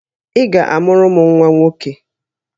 Ị ga-amụrụ m nwa nwoke!